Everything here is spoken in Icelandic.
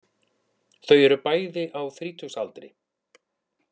Þau eru bæði á þrítugsaldri